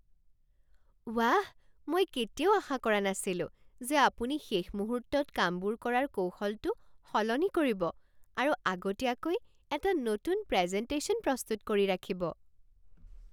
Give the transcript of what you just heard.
ৱাহ! মই কেতিয়াও আশা কৰা নাছিলো যে আপুনি শেষ মুহূৰ্তত কামবোৰ কৰাৰ কৌশলটো সলনি কৰিব আৰু আগতীয়াকৈ এটা নতুন প্ৰেজেণ্টেশ্যন প্ৰস্তুত কৰি ৰাখিব।